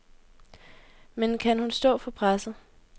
Men kan hun stå for presset?